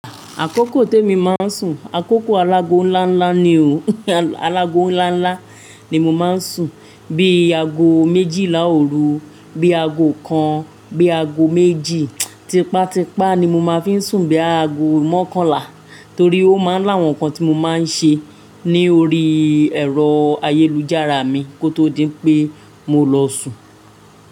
Àkókò te emi máa ń sùn, àkókò alágọ nlá nlá ni o. Alágọ nlá nlá ni mo máa ń sùn bí i ago méjìlá òru, bí i ago kan, bí i ago méjì. Tipátipá ni mo máa ń fi sùn bí i ago mọ́kànlá torí ó máa ń lá àwọn nǹkan tí mo máa ń ṣe ni orí ẹ̀rọ ayélujára mi kó tó di pé mo lọ sùn.